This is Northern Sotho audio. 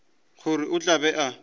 gore o tla be a